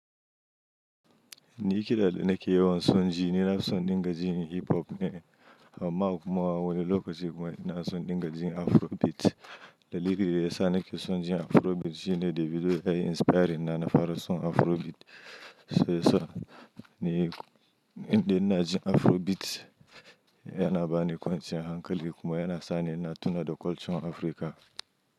Ni kiɗa da nake yawan son ji ni na son dinga jin hip hop ne. Amma kuma wani lokaci kuma ina son dinga jin afrobeat. Dalilin da ya sa nake son jin afrobeat shine Davido ya yi inspiring na fara son afrobeat. Shiyasa ni idan ina jin afrobeat yana bani kwanciyar hankali kuma yana sa ni ina tuna da culture na Africa.